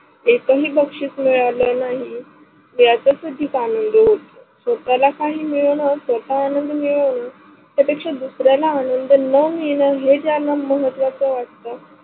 एकही बक्षीश मिळाले नाही, याच अधिक आनंद होतो स्वताला काही मिळेना स्वतः आनंद मिळणं त्याच्या पेक्षा दुसऱ्याला आनंद न मिळण हे ज्यांना महत्त्वाच वाट